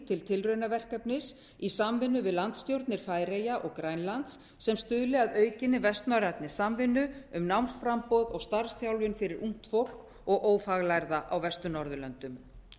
til tilraunaverkefnis í samvinnu við landsstjórnir færeyja og grænlands sem stuðli að aukinni vestnorrænni samvinnu um námsframboð og starfsþjálfun fyrir ungt fólk og ófaglærða á vestur norðurlöndum